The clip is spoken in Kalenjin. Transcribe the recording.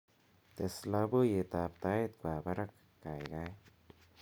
tes loboiyet ab tait kwo barak gaigai